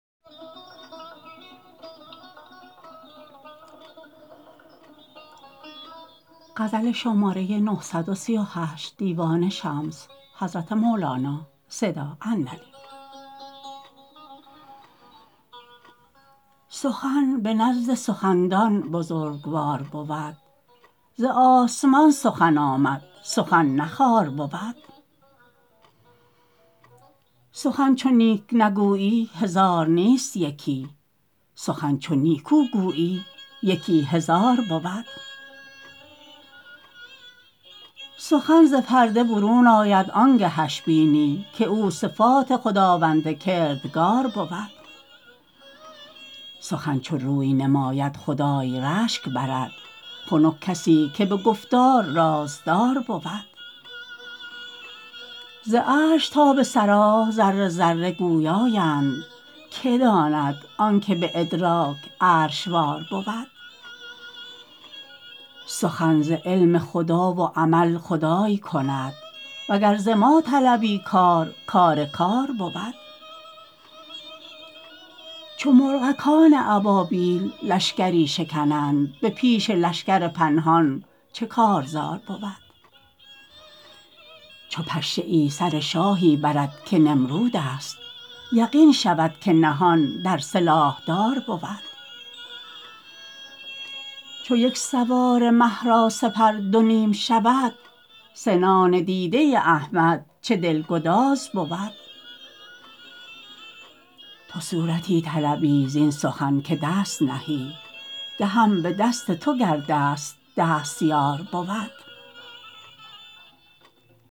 سخن به نزد سخندان بزرگوار بود ز آسمان سخن آمد سخن نه خوار بود سخن چو نیک نگویی هزار نیست یکی سخن چو نیکو گویی یکی هزار بود سخن ز پرده برون آید آن گهش بینی که او صفات خداوند کردگار بود سخن چو روی نماید خدای رشک برد خنک کسی که به گفتار رازدار بود ز عرش تا به ثری ذره ذره گویااند که داند آنک به ادراک عرش وار بود سخن ز علم خدا و عمل خدای کند وگر ز ما طلبی کار کار کار بود چو مرغکان ابابیل لشکری شکنند به پیش لشکر پنهان چه کارزار بود چو پشه سر شاهی برد که نمرودست یقین شود که نهان در سلاحدار بود چو یک سواره مه را سپر دو نیم شود سنان دیده احمد چه دلگذار بود تو صورتی طلبی زین سخن که دست نهی دهم به دست تو گر دست دستیار بود